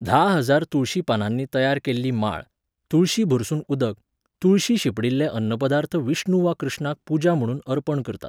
धा हजार तुळशी पानांनी तयार केल्ली माळ, तुळशी भरसून उदक, तुळशी शिंपडिल्ले अन्नपदार्थ विष्णू वा कृष्णाक पुजा म्हणून अर्पण करतात.